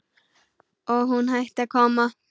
Og hún hætti að koma.